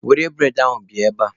Were bụredị ahụ bịa ebea!